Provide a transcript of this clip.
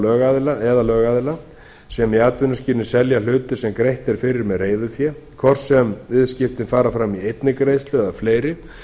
einstaklinga eða lögaðila sem í atvinnuskyni selja hluti sem greitt er fyrir með reiðufé hvort sem viðskiptin fara fram í einni greiðslu eða fleiri